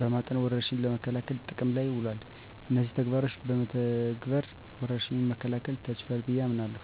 በማጠን ወረርሽኙን ለመከላከል ጥቅም ላይ ውሏል። እነዚህን ተግባሮች በመተግበር ወረርሽኙን መከላከል ተችሏል ብየ አምናለሁ።